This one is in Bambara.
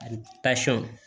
Ani